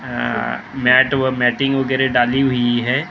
अ mat व मीटिंग वगैरह डाली हुई है ।